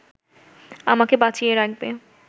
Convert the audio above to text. আমাকে বাঁচিয়ে রাখবে